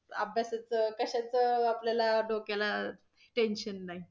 अभ्यासाचं कशाचं आपल्याला डोक्याला tension नाही